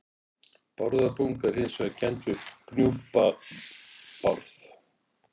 Bárðarbunga er hins vegar kennd við Gnúpa-Bárð.